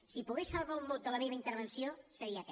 si pogués salvar un mot de la meva intervenció seria aquest